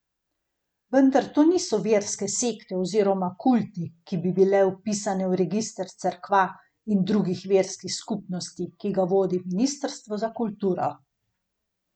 Vendar to niso verske sekte oziroma kulti, ki bi bile vpisane v register cerkva in drugih verskih skupnosti, ki ga vodi Ministrstvo za kulturo.